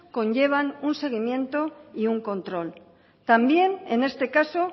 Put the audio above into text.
conllevan un seguimiento y un control también en este caso